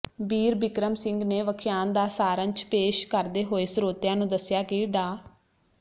ਬੀਰਬਿਕਰਮ ਸਿੰਘ ਨੇ ਵਖਿਆਨ ਦਾ ਸਾਰੰਸ਼ ਪੇਸ਼ ਕਰਦੇ ਹੋਏ ਸਰੋਤਿਆਂ ਨੂੰ ਦੱਸਿਆ ਕਿ ਡਾ